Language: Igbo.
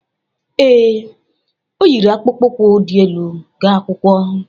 Ee, o yiri akpụkpọ ukwu dị elu ga akwụkwọ